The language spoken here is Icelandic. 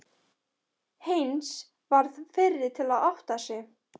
Heinz varð fyrri til að átta sig.